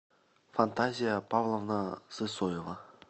фантазия павловна сысоева